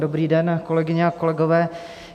Dobrý den, kolegyně a kolegové.